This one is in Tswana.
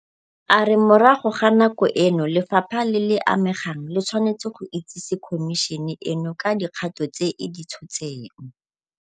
A re morago ga nako eno lefapha le le amegang le tshwanetse go itsese Khomišene eno ka dikgato tse e di tshotseng.